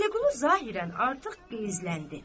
Vəliqulu zahirən artıq qəzbləndi.